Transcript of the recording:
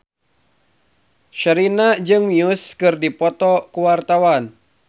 Sherina jeung Muse keur dipoto ku wartawan